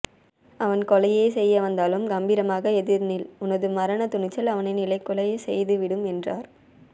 அவன் கொலையே செய்ய வந்தாலும் கம்பீரமாக எதிர் நில் உனது மரண துணிச்சல் அவனை நிலைகுலைய செய்து விடும் என்றார்